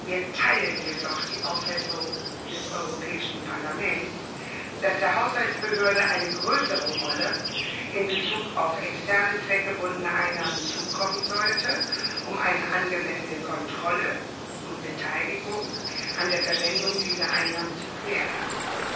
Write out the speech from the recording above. Wir teilen jedoch die Auffassung des Europäischen Parlaments, dass der Haushaltsbehörde eine größere Rolle in Bezug auf externe, zweckgebundene Einnahmen zukommen sollte, um eine angemessene Kontrolle und Beteiligung an der Verwendung dieser Einnahmen zu gewährleisten.